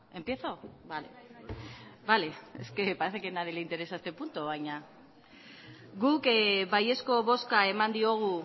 empiezo vale vale es que parece que a nadie le interesa este punto baina guk baiezko bozka eman diogu